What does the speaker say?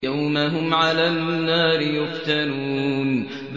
يَوْمَ هُمْ عَلَى النَّارِ يُفْتَنُونَ